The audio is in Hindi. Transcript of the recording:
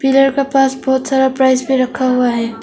पिलर का पास बहोत सारा प्राइज भी रखा हुआ है।